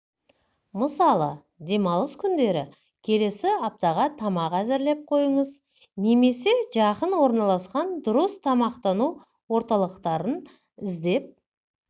мысалы демалыс күндері келесі аптаға тамақ әзірлеп қойыңыз немесе жақын орналасқан дұрыс тамақтану орталықтарын іздеп